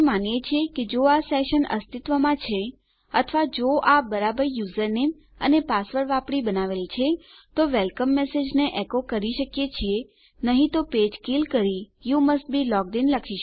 આપણે માનીએ છીએ કે જો આ સેશન અસ્તિત્વમાં છે અથવા જો આ બરાબર યુઝરનેમ અને પાસવર્ડ વાપરી બનાવેલ છે તો આપણે વેલકમ મેસેજને એકો કરી શકીએ છીએ નહી તો પેજ કિલ કરી you must be logged in